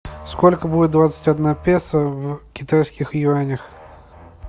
сколько будет двадцать одна песо в китайских юанях